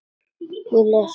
Og les upp.